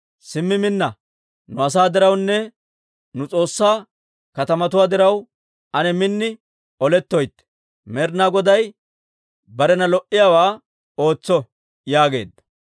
Simmi minna! Nu asaa dirawunne nu S'oossaa katamatuwaa diraw, ane min olettoytte. Med'inaa Goday barena lo"iyaawaa ootso» yaageedda.